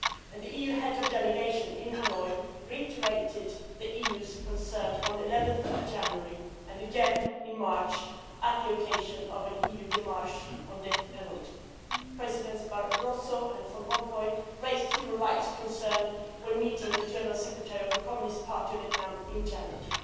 The EU Head of Delegation in Hanoi reiterated the EU's concerns on 11 January and again in March at the occasion of an EU démarche on the death penalty. Presidents Barroso and Van Rompuy raised human rights concerns when meeting the General Secretary of the Communist Party of Vietnam in January.